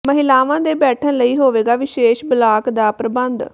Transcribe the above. ਮਹਿਲਾਵਾਂ ਦੇ ਬੈਠਣ ਲਈ ਹੋਵੇਗਾ ਵਿਸ਼ੇਸ਼ ਬਲਾਕ ਦਾ ਪ੍ਰਬੰਧ